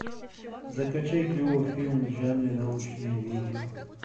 закачай клевый фильм в жанре научное видео